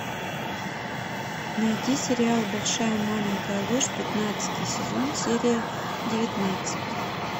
найди сериал большая маленькая ложь пятнадцатый сезон серия девятнадцать